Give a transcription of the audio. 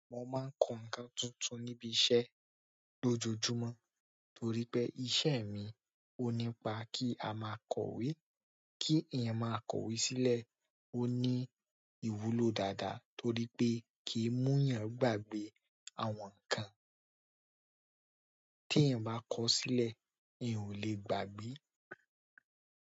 Mo máa ń kọ ǹkan tuntun níbi iṣẹ́ lójoojúmọ́ torí pé iṣẹ́ mi ó nípa kí a máa kọ̀wé kí èèyàn máa kọ̀wé sílẹ̀ ó ní ìwúlò dáadáa torí pé kì í mú yàn gbàgbé àwọn ǹkan ti eyan ba ko sile eyan o le gbagbe.